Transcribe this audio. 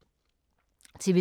TV 2